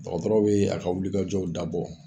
Dɔgɔtɔrɔw bɛ a ka wilikajɔw dabɔ